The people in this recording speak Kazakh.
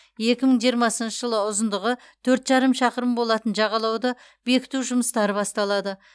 екі мың жиырмасыншы жылы ұзындығы төрт жарым шақырым болатын жағалауды бекіту жұмыстары басталады